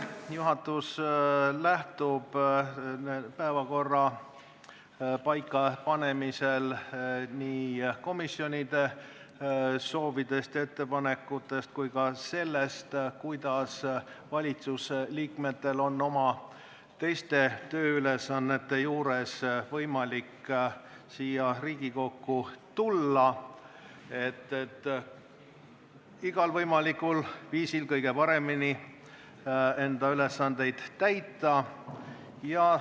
Juhatus lähtub päevakorra paikapanemisel nii komisjonide soovidest ja ettepanekutest kui ka sellest, kuidas valitsuse liikmetel on oma teiste tööülesannete kõrvalt võimalik siia Riigikokku tulla, et igal võimalikul viisil oma ülesandeid kõige paremini täita.